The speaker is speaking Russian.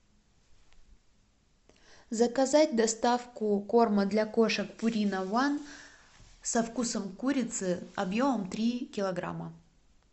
заказать доставку корма для кошек пурина ван со вкусом курицы объемом три килограмма